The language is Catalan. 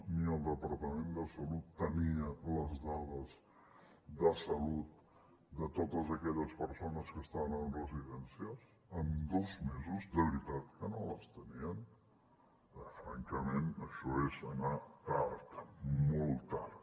ni el departament de salut tenia les dades de salut de totes aquelles persones que estaven en residències en dos mesos de veritat que no les tenien francament això és anar tard molt tard